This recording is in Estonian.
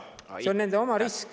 See on nende oma risk.